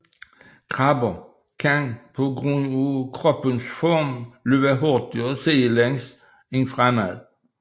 Krabber kan på grund af kroppens form løbe hurtigere sidelæns end fremad